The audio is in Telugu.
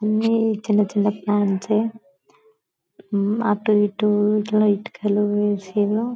అన్నీ చిన్న చిన్న ప్లాన్సే అటు ఇటు ఇట్లా ఇటుకలు వేసిరు.